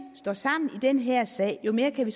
står sammen i den her sag jo mere kan vi